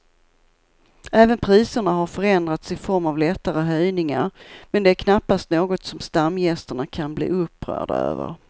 Även priserna har förändrats i form av lättare höjningar men det är knappast något som stamgästerna kan bli upprörda över.